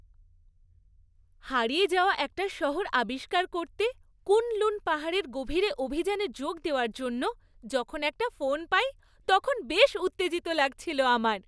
হারিয়ে যাওয়া একটা শহর আবিষ্কার করতে কুন লুন পাহাড়ের গভীরে অভিযানে যোগ দেওয়ার জন্য যখন একটা ফোন পাই, তখন বেশ উত্তেজিত লাগছিলো আমার।